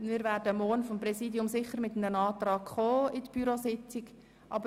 Wir werden seitens des Präsidiums an der morgigen Bürositzung einen Antrag unterbreiten.